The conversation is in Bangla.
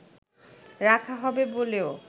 রাখা হবে বলেও